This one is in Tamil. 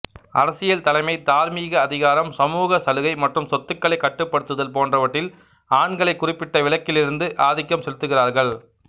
அரசியல் தலைமை தார்மீக அதிகாரம் சமூக சலுகை மற்றும் சொத்துக்களைக் கட்டுப்படுத்துதல் போன்றவற்றில் ஆண்களை குறிப்பிட்ட விலக்கிலிருந்து ஆதிக்கம் செலுத்துகிறார்கள்